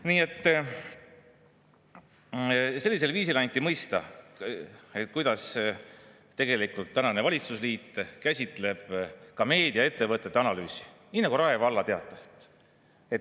Nii et sellisel viisil anti mõista, kuidas tegelikult valitsusliit käsitleb ka meediaettevõtete analüüsi – nii nagu Rae Valla Teatajat.